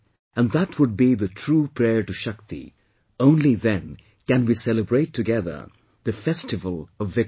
And that would be the true prayer to Shakti, only then can we celebrate together the festival of victory